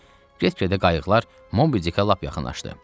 Get-gedə qayıqlar Mobidikə lap yaxınlaşdı.